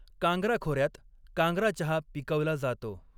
कांग्रा खोऱ्यात कांग्रा चहा पिकवला जातो.